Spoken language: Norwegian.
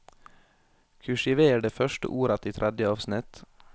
Kursiver det første ordet i tredje avsnitt